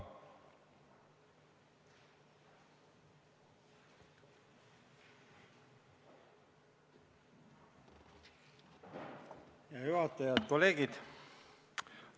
Hea juhataja ja head kolleegid!